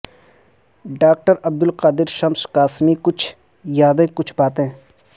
doctor Abdul Qadir Shams Qasmi کچھ یادیں کچھ باتیں